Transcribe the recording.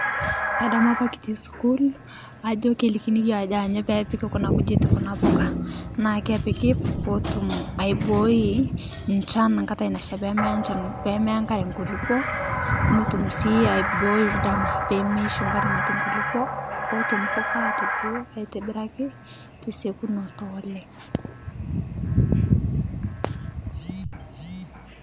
Kadamu apa kitii sukuul ajo kelikini yoo ajo anyo peepiki kuna kujit kuna pukaa naa kepiki pootum aibooi nchan nkatai nashaa pemeyaa nchan pemeya nkaree nkulipoo notum sii aibooi ldama pemeishu nkare natii nkulipo pootum mpuka atubulu aitibiraki tesekunoo oleng'.